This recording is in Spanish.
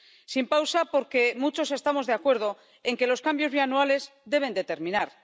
Sin pausa, porque muchos estamos de acuerdo en que los cambios bianuales deben terminar.